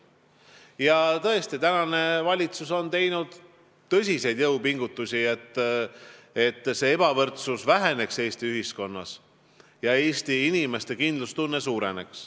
Ja praegune valitsus on tõesti teinud tõsiseid jõupingutusi, et ebavõrdsus Eesti ühiskonnas väheneks ja Eesti inimeste kindlustunne suureneks.